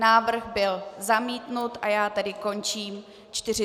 Návrh byl zamítnut a já tedy končím 40. schůzi.